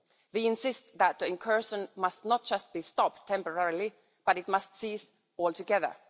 They insist that the incursion must not just be stopped temporarily, but it must cease altogether.